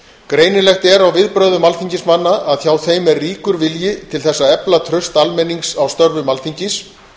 greinilegt er á viðbrögðum alþingismanna að hjá þeim er ríkur vilji til þess að efla traust almennings á störfum alþingis